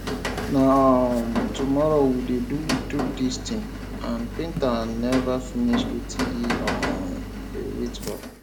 na um tomorrow we dey do do dis thing and painter never finish wetin he um dey wait for